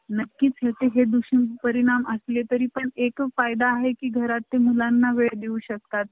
ते नाही काय तुम्हाला सांगतो phone आलता मला